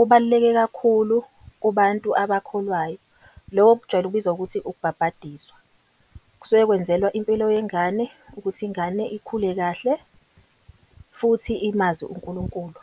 ubaluleke kakhulu kubantu abakholwayo. Lobo bujwayele ukubizwa ukuthi ukubhabhadiswa. Kusuke kwenzelwa impilo yengane ukuthi ingane ikhule kahle, futhi imazi uNkulunkulu.